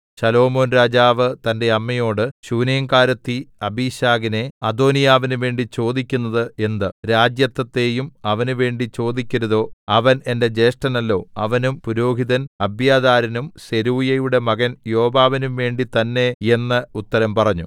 ശലോമോൻ രാജാവ് തന്റെ അമ്മയോട് ശൂനേംകാരത്തി അബീശഗിനെ അദോനീയാവിന് വേണ്ടി ചോദിക്കുന്നത് എന്ത് രാജത്വത്തെയും അവന് വേണ്ടി ചോദിക്കരുതോ അവൻ എന്റെ ജ്യേഷ്ഠനല്ലോ അവനും പുരോഹിതൻ അബ്യാഥാരിനും സെരൂയയുടെ മകൻ യോവാബിനും വേണ്ടി തന്നേ എന്ന് ഉത്തരം പറഞ്ഞു